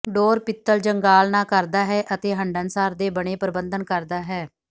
ਡੋਰ ਪਿੱਤਲ ਜੰਗਾਲ ਨਾ ਕਰਦਾ ਹੈ ਅਤੇ ਹੰਢਣਸਾਰ ਦੇ ਬਣੇ ਪਰਬੰਧਨ ਕਰਦਾ ਹੈ